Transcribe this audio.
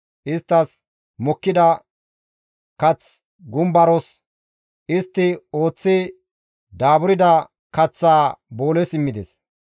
Isttas mokkida kaththa gumbaros; istti ooththi daaburda kaththaa booles immides.